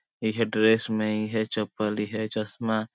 इहे ड्रेस में इहे चप्पल इहे चश्मा --